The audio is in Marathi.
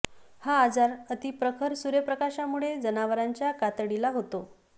हा आजार अति प्रखर सूर्यप्रकाशामुळे जनावरांच्या कातडीला होतो